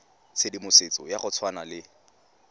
tshedimosetso ya go tshwana le